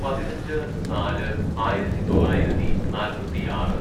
പതിനഞ്ച് നാല് ആയിരത്തിതൊള്ളായിരത്തി നാൽപ്പത്തിയാറ്‌